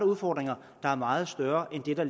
udfordringer der er meget større end det der